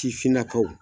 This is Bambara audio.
Sifinnakaw